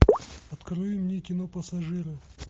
открой мне кино пассажиры